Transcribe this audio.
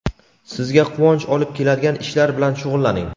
sizga quvonch olib keladigan ishlar bilan shug‘ullaning.